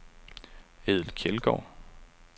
Edel Kjeldgaard